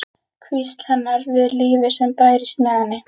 Hvísl hennar við lífið sem bærist með henni.